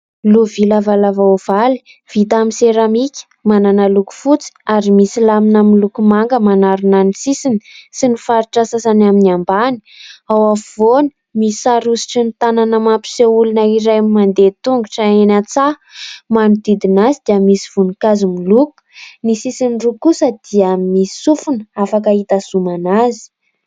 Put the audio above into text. Lovia lavalava ovaly, vita amin'ny seramika, manana loko fotsy ary misy lamina miloko manga manarona ny sisiny sy ny faritra sasany amin'ny ambany. Ao afovoany misy sary hosotry ny tanana mampiseho olona iray mandeha tongotra eny an-tsaha, manodidina azy dia misy voninkazo miloko. Ny sisiny roa kosa dia misy sofony afaka hitazomana azy.